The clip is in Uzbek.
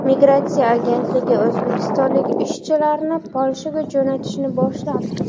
Migratsiya agentligi o‘zbekistonlik ishchilarni Polshaga jo‘natishni boshladi.